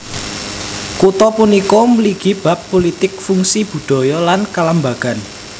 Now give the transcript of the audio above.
Kutha punika mligi bab pulitik fungsi budaya lan kalembagan